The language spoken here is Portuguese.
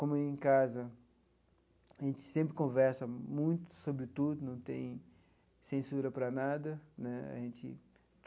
Como em casa, a gente sempre conversa muito sobre tudo, não tem censura para nada né a gente.